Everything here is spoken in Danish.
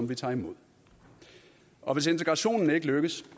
vi tager imod og hvis integrationen ikke lykkes